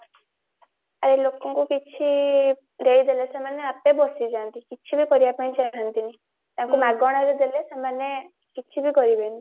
ଆରେ ଲୋକଙ୍କୁ କିଛି ଦେଇଦେଲେ ସେମାନେ ଆପେ ବସିଯାନ୍ତି କିଛି ବି କରିବା ପାଇଁ ଚାହାନ୍ତିନି ତାଙ୍କୁ ମାଗଣାରେ ଦେଲେ ସେମାନେ କିଛି ବି କରିବେନି